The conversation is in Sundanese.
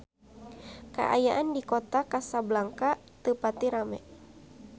Kaayaan di Kota Kasablanka teu pati rame